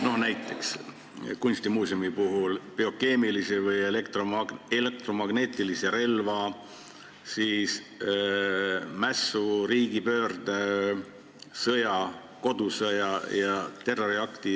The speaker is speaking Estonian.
Toon näiteks biokeemilise või elektromagnetilise relva kasutamise, mässu, riigipöörde, sõja, kodusõja ja terroriakti.